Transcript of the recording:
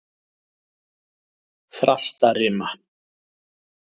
Þrastarima